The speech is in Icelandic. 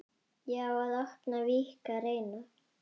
Já, að opna, víkka, reyna.